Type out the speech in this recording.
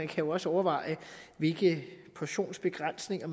jo også overvejes hvilke portionsbegrænsninger